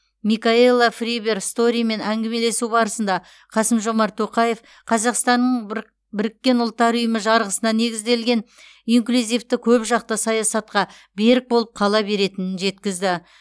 микаелла фриберг сторимен әңгімелесу барысында қасым жомарт тоқаев қазақстанның быр біріккен ұлттар ұйымы жарғысына негізделген инклюзивті көпжақты саясатқа берік болып қала беретінін жеткізді